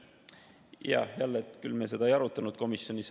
Jah, jälle, me küll seda ei arutanud komisjonis.